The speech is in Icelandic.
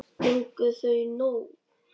Fengu þau nóg?